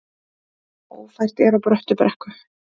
Ófært er á Bröttubrekku